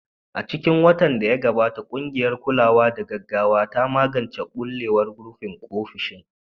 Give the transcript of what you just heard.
A cikin watan da ya gabata, ƙungiyar kulawa da gaggawa ta magance ɓulewar rufin ofishin.